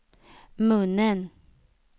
munnen